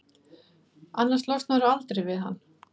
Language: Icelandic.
annars losnarðu aldrei við hann.